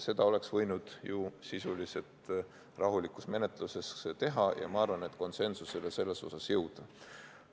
Seda oleks võinud ju sisuliselt, rahuliku menetlusega teha ja ma arvan, et ka konsensusele jõuda.